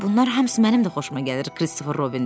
Bunlar hamısı mənim də xoşuma gəlir,” Kristofer Robin dedi.